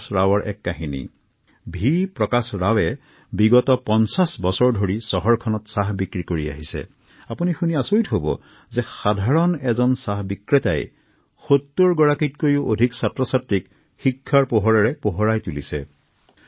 পাঁচ দশক ধৰি চাহৰ ক্ষুদ্ৰ ব্যৱসায়ৰ সৈতে জড়িত ৰাৱৰ কথা শুনি আপোনালোকো আচৰিত হব যে তেঁওৰ প্ৰচেষ্টাৰ বাবে ৭০ৰো অধিক শিশুৱে আজি শিক্ষাৰ পোহৰেৰে আলোকিত হৈছে